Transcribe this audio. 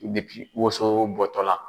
woson bɔ tɔ la